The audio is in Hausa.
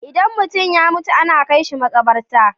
Idan mutum ya mutu ana kai shi maƙabarta.